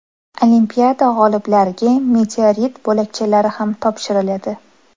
Olimpiada g‘oliblariga meteorit bo‘lakchalari ham topshiriladi.